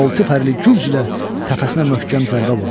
Altı pərli gürzlə təpəsinə möhkəm zərbə vurdu.